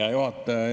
Hea juhataja!